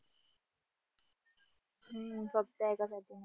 हम्म करतो एकासाठी